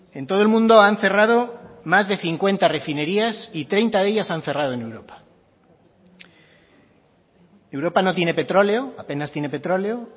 en todo el mundo han cerrado más de cincuenta refinerías y treinta de ellas han cerrado en europa europa no tiene petróleo apenas tiene petróleo